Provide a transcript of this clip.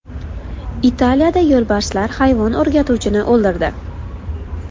Italiyada yo‘lbarslar hayvon o‘rgatuvchini o‘ldirdi.